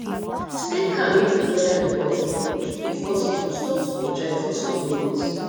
stay calm if di weather report no good if possible stop to dey drive for some minutes